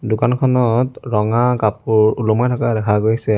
দোকানখনত ৰঙা কাপোৰ ওলমাই থকা দেখা গৈছে।